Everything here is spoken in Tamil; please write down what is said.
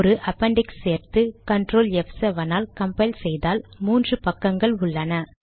ஒரு அப்பெண்டிக்ஸ் சேர்த்து ctrl ப்7 ஆல் கம்பைல் செய்தால் மூன்று பக்கங்கள் உள்ளன